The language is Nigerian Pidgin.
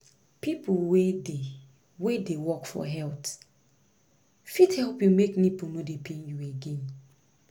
people wey dey wey dey work for health fit help you make nipple no dey pain you again